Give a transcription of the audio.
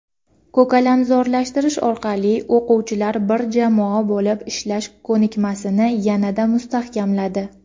ko‘kalamzorlashtirish orqali o‘quvchilar bir jamoa bo‘lib ishlash ko‘nikmasini yanada mustahkamladi.